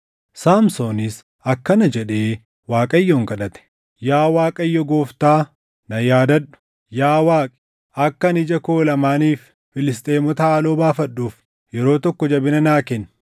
Saamsoonis akkana jedhee Waaqayyoon kadhate; “Yaa Waaqayyo Gooftaa, na yaadadhu. Yaa Waaqi, akka ani ija koo lamaaniif Filisxeemota haaloo baafadhuuf yeroo tokko jabina naa kenni.”